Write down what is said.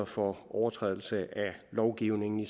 for overtrædelse af lovgivningen